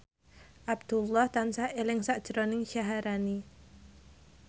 Abdullah tansah eling sakjroning Syaharani